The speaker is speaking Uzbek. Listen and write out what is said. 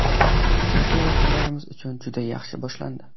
Uchrashuv vakillarimiz uchun juda yaxshi boshlandi.